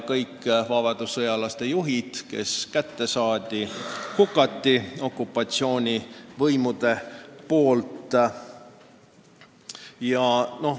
Kõik vabadussõjalaste juhid, kes kätte saadi, hukati okupatsioonivõimu käsul.